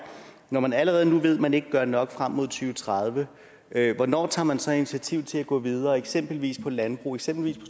når man allerede nu ved at man ikke gør nok frem mod to tusind og tredive hvornår tager man så et initiativ til at gå videre eksempelvis på landbrug eksempelvis